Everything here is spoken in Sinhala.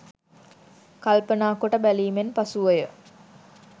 කල්පනා කොට බැලීමෙන් පසුව ය.